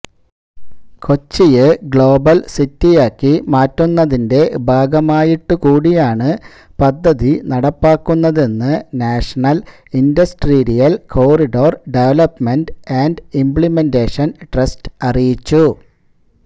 കൊച്ചിയെ global സിറ്റിയാക്കി മാറ്റുന്നതിന്റെ ഭാഗമായിട്ടുകൂടിയാണ് പദ്ധതി നടപ്പാക്കുന്നതെന്ന് national industrial corridor development and implementation trust അറിയിച്ചു